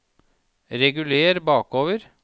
reguler bakover